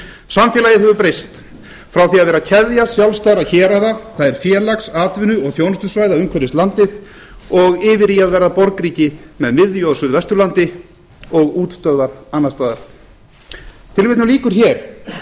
samfélagið hefur breyst frá því að vera keðja sjálfstæðra héraða það er félags atvinnu og þjónustusvæða umhverfis landið og yfir í að verða borgríki með miðju á suðvesturlandi og útstöðvar annars staðar tilvitnun lýkur hér en í framhaldi af þessu spáir